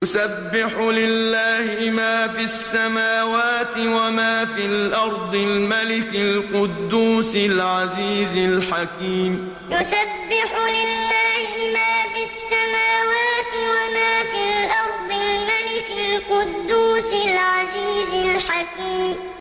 يُسَبِّحُ لِلَّهِ مَا فِي السَّمَاوَاتِ وَمَا فِي الْأَرْضِ الْمَلِكِ الْقُدُّوسِ الْعَزِيزِ الْحَكِيمِ يُسَبِّحُ لِلَّهِ مَا فِي السَّمَاوَاتِ وَمَا فِي الْأَرْضِ الْمَلِكِ الْقُدُّوسِ الْعَزِيزِ الْحَكِيمِ